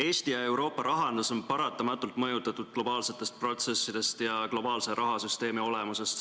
Eesti ja Euroopa rahandust mõjutavad paratamatult globaalsed protsessid ja globaalse rahasüsteemi olemus.